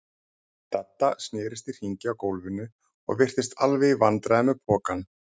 Dadda snerist í hringi á gólfinu og virtist alveg í vandræðum með pokann.